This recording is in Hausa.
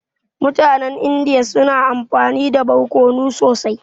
Mutanen Indiya suna amfani da barkono sosai.